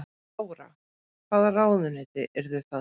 Þóra: Hvaða ráðuneyti yrðu það?